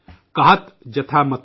कहत जथा मति मोर।